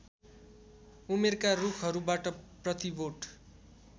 उमेरका रुखहरूबाट प्रतिबोट